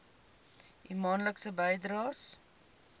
u maandelikse bydraes